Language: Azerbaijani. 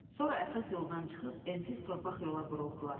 Sonra əsas yoldan çıxıb ensiz torpaq yola buruldular.